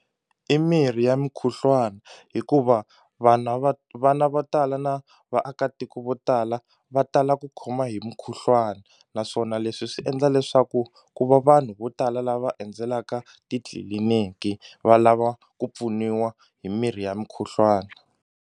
I mirhi ya mukhuhlwani hikuva vana va vana vo tala na vaakatiko vo tala va tala ku khoma hi mukhuhlwani naswona leswi swi endla leswaku ku va vanhu vo tala lava endzelaka titliliniki va lava ku pfuniwa hi mirhi ya mukhuhlwani.